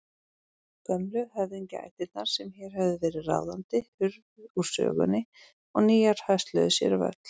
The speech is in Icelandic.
Gömlu höfðingjaættirnar sem hér höfðu verið ráðandi hurfu úr sögunni og nýjar hösluðu sér völl.